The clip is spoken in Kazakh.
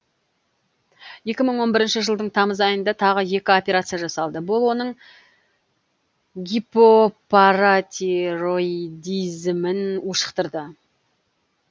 екі мың он бірінші жылдың тамыз айында тағы екі операция жасалды бұл оның гипопаратироидизмін ушықтырды